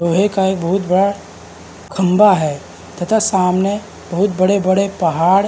लोहे का एक बहोत बड़ा खंबा है तथा सामने बहोत बड़े बड़े पहाड़ --